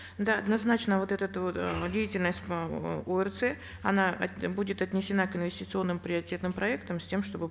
да однозначно вот этот вот э деятельность эээ орц она будет отнесена к инвестиционным приоритетным проектам с тем чтобы